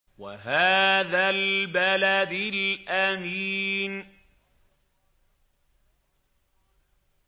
وَهَٰذَا الْبَلَدِ الْأَمِينِ